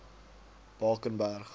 bakenberg